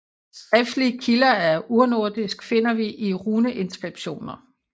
Skriftlige kilder af urnordisk finder vi i runeinskripsjoner